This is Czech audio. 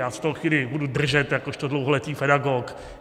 Já se toho chvíli budu držet jakožto dlouholetý pedagog.